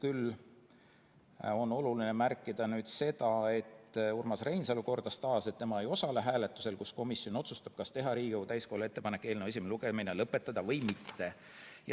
Küll on oluline märkida, et Urmas Reinsalu kordas taas, et tema ei osale hääletusel, kus komisjon otsustab, kas teha Riigikogu täiskogule ettepanek eelnõu esimene lugemine lõpetada või mitte.